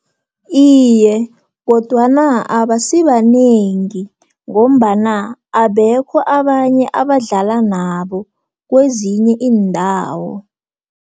Iye, kodwana abasibanengi, ngombana abekho abanye abadlala nabo, kwezinye iindawo.